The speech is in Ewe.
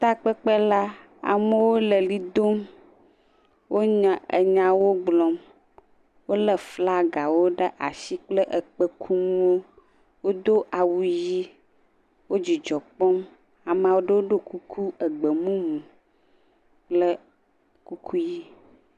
Takpekpe la, amewo le ʋli dom. Wo nyawo gblɔm. Wolé flagawo ɖe asi kple kpẽkunuwo. Wodo awu ʋi, wo dzidzɔ kpɔm. Ame aɖewo do kuku gbemumu kple kuku ʋi.